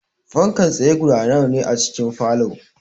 Fankar tsaye guda nawa ne a cikin falow?